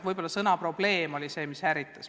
Võib-olla sõna "probleem" on ärritanud.